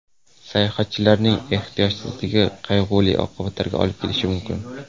Sayohatchilarning ehtiyotsizligi qayg‘uli oqibatlarga olib kelishi mumkin.